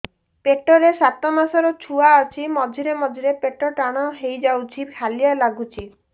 ପେଟ ରେ ସାତମାସର ଛୁଆ ଅଛି ମଝିରେ ମଝିରେ ପେଟ ଟାଣ ହେଇଯାଉଚି ହାଲିଆ ଲାଗୁଚି